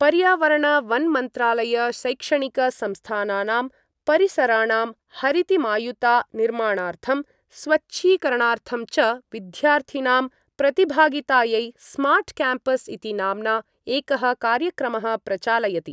पर्यावरणवन्मन्त्रालय शैक्षणिकसंस्थानानां परिसराणां हरितिमायुता निर्माणार्थं स्वच्छीकरणार्थं च विद्यार्थिनां प्रतिभागितायै स्मार्ट्क्याम्पस् इति नाम्ना एकः कार्यक्रमः प्रचालयति।